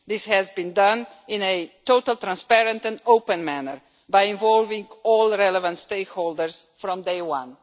This has been done in a totally transparent and open manner by involving all relevant stakeholders from day one.